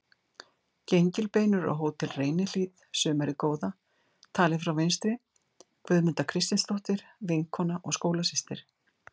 Gengilbeinur á Hótel Reynihlíð sumarið góða, talið frá vinstri: Guðmunda Kristinsdóttir, vinkona og skólasystir